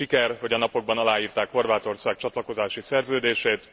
Siker, hogy a napokban aláírták Horvátország csatlakozási szerződését.